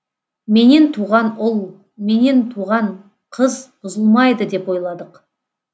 менен туған ұл менен туған қыз бұзылмайды деп ойладық